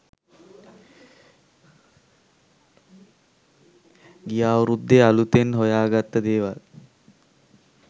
ගිය අවුරුද්දේ අලුතෙන් හොයාගත්ත දේවල්.